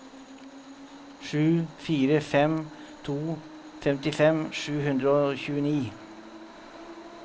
sju fire fem to femtifem sju hundre og tjueni